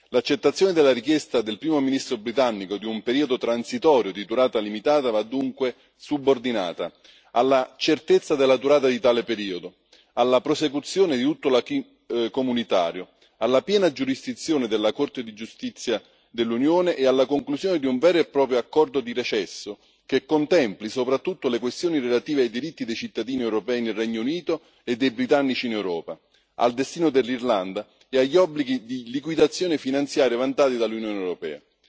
L'accettazione della richiesta del Primo ministro britannico di un periodo transitorio di durata limitata va dunque subordinata alla certezza della durata di tale periodo, alla prosecuzione di tutto l'acquis comunitario, alla piena giurisdizione della Corte di giustizia dell'Unione e alla conclusione di un vero e proprio accordo di recesso, che contempli soprattutto le questioni relative ai diritti dei cittadini europei nel Regno Unito e dei britannici in Europa, al destino dell'Irlanda e agli obblighi di liquidazione finanziari vantati dall'Unione europea.